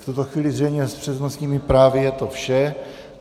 V tuto chvíli zřejmě s přednostními právy je to vše.